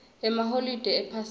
emaholide ephasika